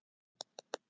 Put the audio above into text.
Agla, hvað er klukkan?